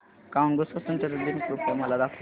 Congo स्वतंत्रता दिन कृपया मला दाखवा